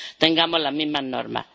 tengamos las mismas normas.